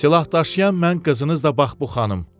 Silahdaşıyan mən, qızınız da bax bu xanım.